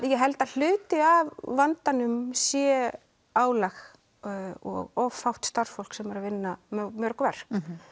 ég held að hluti af vandanum sé álag og of fátt starfsfólk sem er að vinna mörg verk